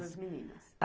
Duas meninas.